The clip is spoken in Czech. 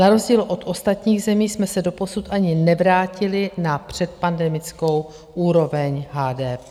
Na rozdíl od ostatních zemí jsme se doposud ani nevrátili na předpandemickou úroveň HDP.